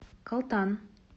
калтан